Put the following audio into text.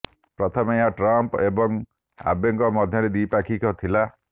ପ୍ରଥମେ ଏହା ଟ୍ରମ୍ପ୍ ଏବଂ ଆବେଙ୍କ ମଧ୍ୟରେ ଦ୍ୱିପାକ୍ଷିକ ଥିଲା